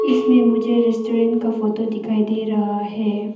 इसमें मुझे रेस्टोरेंट का फोटो दिखाई दे रहा है।